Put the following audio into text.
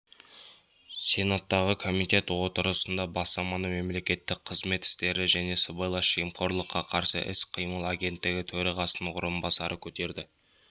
сенаттағы комитет отырысында бастаманы мемлекеттік қызмет істері және сыбайлас жемқорлыққа қарсы іс-қимыл агенттігі төрағасының орынбасары көтерді